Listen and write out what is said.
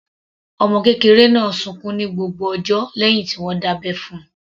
Ọmọ kékeré náà sunkún ní gbogbo ọjọ́ lẹ́hìn tí wọ́n dábẹ́ fún - un.